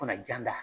Fana jan da